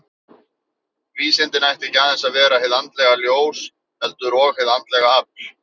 Vísindin ættu ekki aðeins að vera hið andlega ljós, heldur og hið andlega afl.